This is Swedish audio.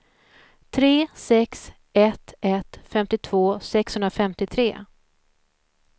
tre sex ett ett femtiotvå sexhundrafemtiotre